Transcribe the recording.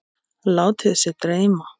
Látið sig dreyma.